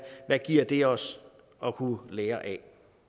giver det os at kunne lære af